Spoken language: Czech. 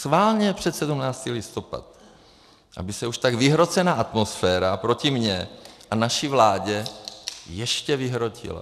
Schválně před 17. listopad, aby se už tak vyhrocená atmosféra proti mně a naší vládě ještě vyhrotila.